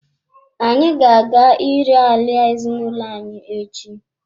Anyị ga-aga ire ala ezinụlọ anyi echi.